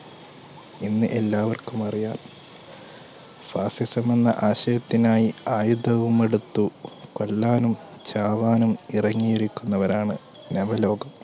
ഇന്ന് എല്ലാവർക്കും അറിയാം fascism എന്ന ആശയത്തിനായി ആയുധവുമെടുത്തു കൊല്ലാനും ചാവാനും ഇറങ്ങിയിരിക്കുന്നവരാണ് നവലോകം